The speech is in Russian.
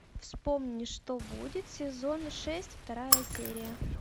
вспомни что будет сезон шесть вторая серия